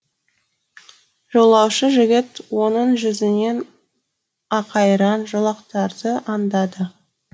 жолаушы жігіт оның жүзінен ақайраң жолақтарды аңдады